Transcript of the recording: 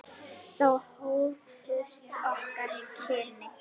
Þá hófust okkar kynni.